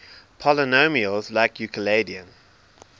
polynomials like euclidean